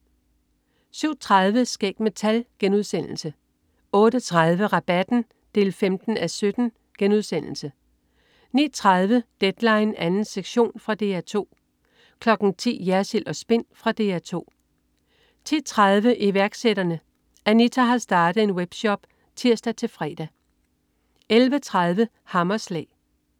07.30 Skæg med tal* 08.30 Rabatten 15:17* 09.30 Deadline 2. sektion. Fra DR 2 10.00 Jersild & Spin. Fra DR 2 10.30 Iværksætterne. Anita har startet en web-shop (tirs-fre) 11.30 Hammerslag